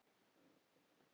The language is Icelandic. Já, einmitt þau!